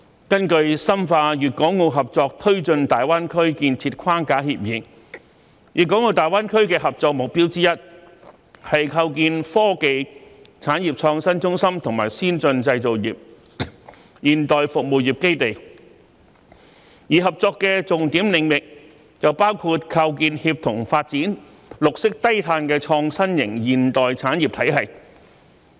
根據《深化粵港澳合作推進大灣區建設框架協議》，粵港澳大灣區的合作目標之一，是構建科技、產業創新中心和先進製造業、現代服務業基地，而合作的重點領域則包括構建協同發展、綠色低碳的創新型現代產業體系。